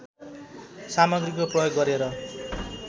सामग्रीको प्रयोग गरेर